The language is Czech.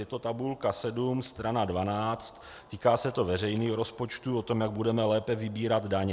Je to tabulka 7 strana 12, týká se to veřejných rozpočtů o tom, jak budeme lépe vybírat daně.